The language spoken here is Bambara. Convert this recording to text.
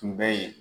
Tun bɛ yen